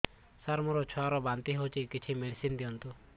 ସାର ମୋର ଛୁଆ ର ବାନ୍ତି ହଉଚି କିଛି ମେଡିସିନ ଦିଅନ୍ତୁ